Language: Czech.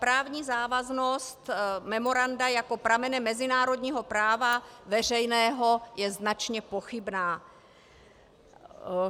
Právní závaznost memoranda jako pramene mezinárodního práva veřejného je značně pochybná.